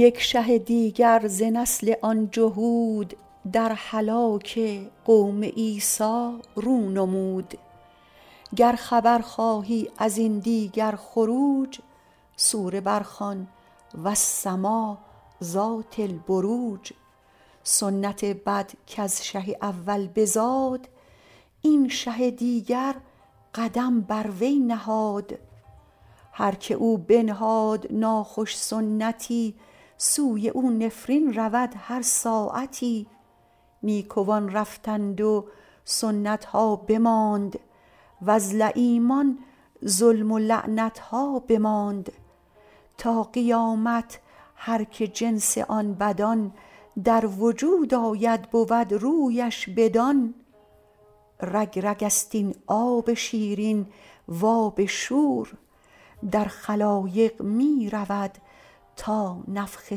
یک شه دیگر ز نسل آن جهود در هلاک قوم عیسی رو نمود گر خبر خواهی ازین دیگر خروج سوره بر خوان وٱلسمآء ذات ٱلۡبروج سنت بد کز شه اول بزاد این شه دیگر قدم بر وی نهاد هر که او بنهاد ناخوش سنتی سوی او نفرین رود هر ساعتی نیکوان رفتند و سنت ها بماند وز لییمان ظلم و لعنت ها بماند تا قیامت هرکه جنس آن بدان در وجود آید بود رویش بدان رگ رگست این آب شیرین و آب شور در خلایق می رود تا نفخ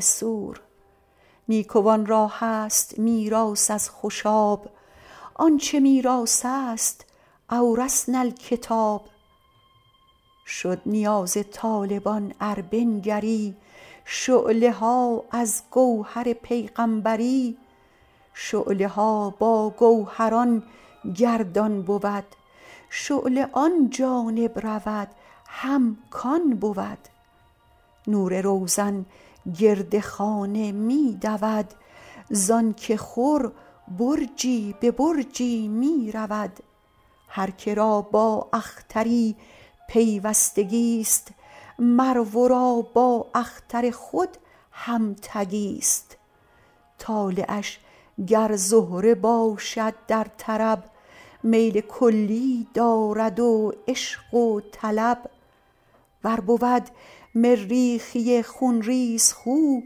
صور نیکوان را هست میراث از خوشاب آن چه میراث است أوۡرثۡنا ٱلۡکتٰب شد نیاز طالبان ار بنگری شعله ها از گوهر پیغامبری شعله ها با گوهران گردان بود شعله آن جانب رود هم کان بود نور روزن گرد خانه می دود زانک خور برجی به برجی می رود هر که را با اختری پیوستگی ست مر ورا با اختر خود هم تگی ست طالعش گر زهره باشد در طرب میل کلی دارد و عشق و طلب ور بود مریخی خون ریزخو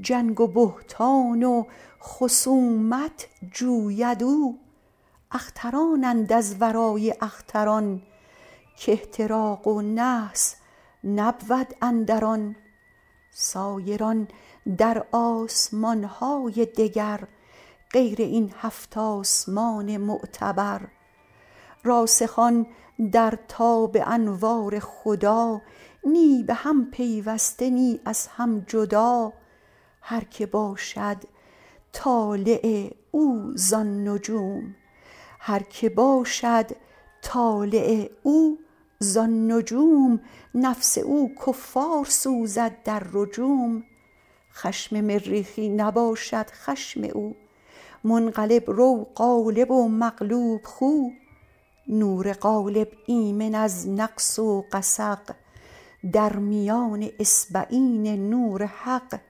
جنگ و بهتان و خصومت جوید او اخترانند از ورای اختران که احتراق و نحس نبود اندر آن سایران در آسمان های دگر غیر این هفت آسمان معتبر راسخان در تاب انوار خدا نه به هم پیوسته نه از هم جدا هر که باشد طالع او زان نجوم نفس او کفار سوزد در رجوم خشم مریخی نباشد خشم او منقلب رو غالب و مغلوب خو نور غالب ایمن از نقص و غسق در میان اصبعین نور حق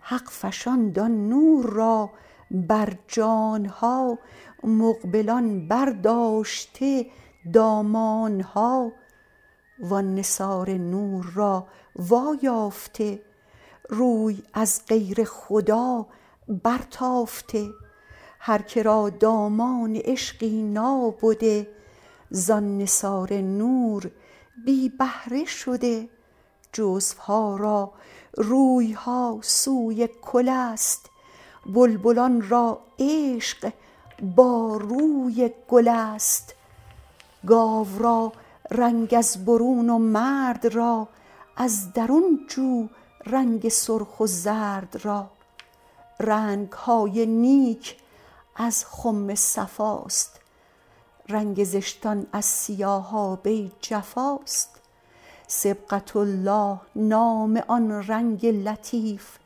حق فشاند آن نور را بر جان ها مقبلان بر داشته دامان ها و آن نثار نور را وا یافته روی از غیر خدا برتافته هر که را دامان عشقی نابده زان نثار نور بی بهره شده جزوها را رویها سوی کل است بلبلان را عشق با روی گل است گاو را رنگ از برون و مرد را از درون جو رنگ سرخ و زرد را رنگ های نیک از خم صفاست رنگ زشتان از سیاهابه جفاست صبغة الله نام آن رنگ لطیف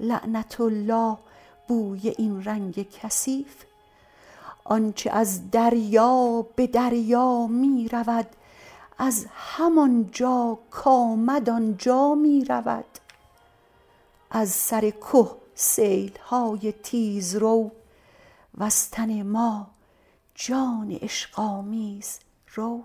لعنة الله بوی این رنگ کثیف آنچ از دریا به دریا می رود از همانجا کامد آنجا می رود از سر که سیل های تیزرو وز تن ما جان عشق آمیزرو